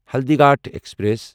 Haldighati passenger